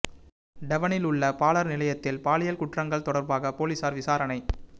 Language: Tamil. டெவனில் உள்ள பாலர் நிலையத்தில் பாலியல் குற்றங்கள் தொடர்பாக பொலிஸார் விசாரணை